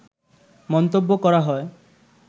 মন্তব্য করা হয়